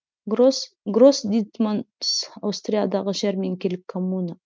грос дит манс аустриядағы жәрменкелік коммуна